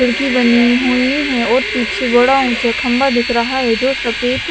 खिड़की बनी हुई है और पीछे बड़ा ऊंचा खंबा दिख रहा है जो सफेद--